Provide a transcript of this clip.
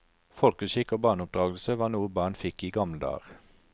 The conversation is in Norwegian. Folkeskikk og barneoppdragelse var noe barn fikk i gamle dager.